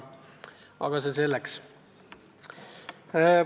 Aga see selleks.